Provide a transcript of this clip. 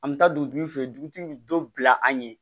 An bɛ taa dugutigi fɛ yen dugutigi bɛ dɔ bila an ɲɛ